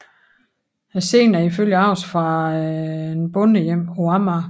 Scenen er ifølge ARoS fra et bondehjem på Amager